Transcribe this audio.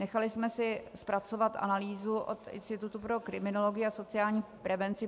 Nechali jsme si zpracovat analýzu od Institutu pro kriminologii a sociální prevenci.